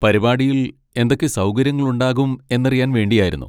പരിപാടിയിൽ എന്തൊക്കെ സൗകര്യങ്ങളുണ്ടാകും എന്നറിയാൻ വേണ്ടിയായിരുന്നു.